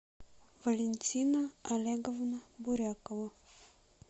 валентина олеговна бурякова